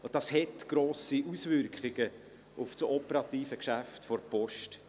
Das hat grosse Auswirkungen auf das operative Geschäft der Post.